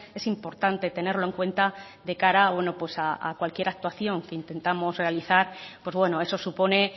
es importante tenerlo en cuenta de cara a cualquier actuación que intentamos realizar pues bueno eso supone